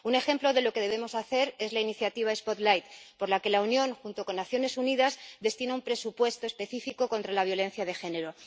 Un ejemplo de lo que debemos hacer es la Iniciativa Spotlight, por la por la que la Unión, junto con Naciones Unidas, destina un presupuesto específico contra la violencia de género.